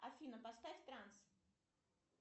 афина поставь транс